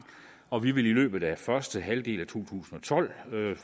og vi vil i løbet af første halvdel af to tusind og tolv